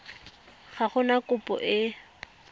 ga go na kopo e